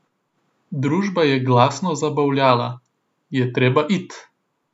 Družba je glasno zabavljala: "Je treba it'.